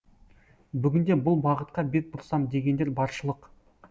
бүгінде бұл бағытқа бет бұрсам дегендер баршылық